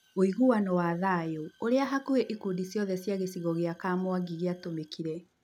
ũiguano wa thayũũrĩa hakuhĩ ĩkundi ciothe cia gĩcigo kĩa Kamwangi kĩa gĩatũmĩkire.